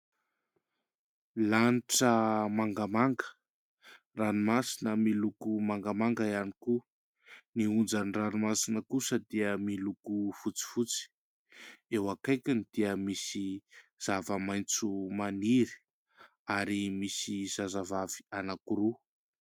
Lanitra mangamanga, ranomasina miloko mangamanga ihany koa, ny onja ny ranomasina kosa dia miloko fotsifotsy, eo akaikiny dia misy zava-maitso maniry ary misy zazavavy anankiroa.